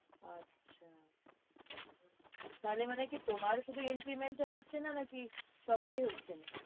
আচ্ছা তাহলে মানে কি তোমার শুধু increment টা হচ্ছে না নাকি সবারই হচ্ছে না।